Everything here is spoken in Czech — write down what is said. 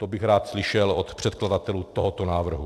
To bych rád slyšel od předkladatelů tohoto návrhu.